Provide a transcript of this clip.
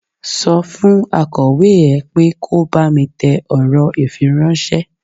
Sọ fún akọ̀wé ẹ pé kò bá mi tẹ ọ̀rọ̀ ifíráńṣẹ́.